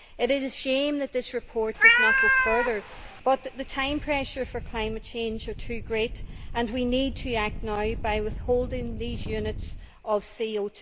It is a shame that this report does not go further, but the time pressure for climate change is too great and we need to act now by withholding these units of CO